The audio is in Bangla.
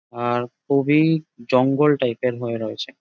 আর খুব এই জঙ্গল টাইপ - এর হয়েছে রয়েছে ।